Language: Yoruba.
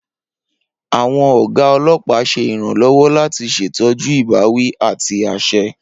Awọn oga olopa ṣe iranlọwọ lati ṣetọju ibawi ati aṣẹ.